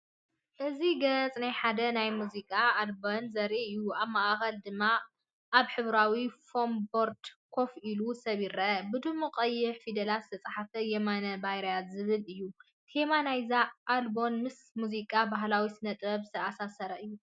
እዚ ገጽ ናይ ሓደ ናይ ሙዚቃ ኣልበም ዘርኢ እዩ። ኣብ ማእከል ድማ ኣብ ሕብራዊ ፎም ቦርድ ኮፍ ኢሉ ሰብ ይርአ። ብድሙቕ ቀይሕ ፊደላት ዝተጻሕፈ “የማነ ባርያ”ዝብል እዩ። ቴማ ናይ’ዛ ኣልቡም ምስ ሙዚቃን ባህላዊ ስነ-ጥበብን ዝተኣሳሰር’ዩ።